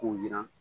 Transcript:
K'u yiran